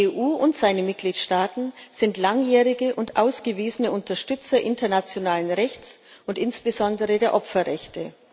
Die EU und ihre Mitgliedstaaten sind langjährige und ausgewiesene Unterstützer internationalen Rechts und insbesondere der Opferrechte.